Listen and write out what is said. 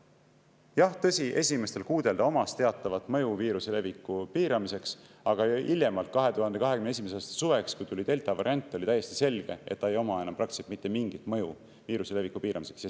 Jah, tõsi, esimestel kuudel ta omas teatavat mõju viiruse leviku piiramiseks, aga hiljemalt 2021. aasta suveks, kui tuli delta variant, oli täiesti selge, et ta ei oma enam praktiliselt mitte mingit mõju viiruse leviku piiramiseks.